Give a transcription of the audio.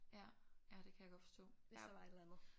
Ja ja det kan jeg godt forstå hvis der var et eller andet